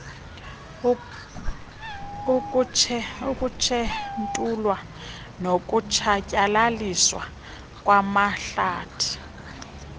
kukutshentulwa nokutshatyalaliswa kwamahlathi